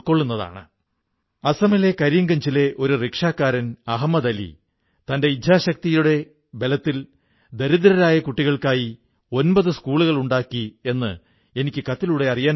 ഈ പ്രോജക്ടിന്റെ വെബ്സൈറ്റിൽ എഴുതിയിരിക്കുന്നു the symbol of dharma in motion ഐ ഈ വെബ്സൈറ്റിൽ മാർക് ബ്രൌണുമായുള്ള വളരെ മനംകുളിർപ്പിക്കുന്ന അഭിമുഖം കാണാം